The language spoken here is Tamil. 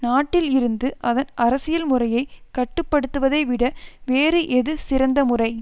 நாட்டில் இருந்து அதன் அரசியல் முறையை கட்டுப்படுத்துவதை விட வேறு எது சிறந்த முறை